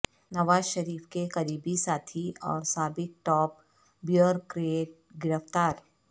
نواز شریف کے قریبی ساتھی اور سابق ٹاپ بیورکریٹ گرفتار